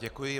Děkuji.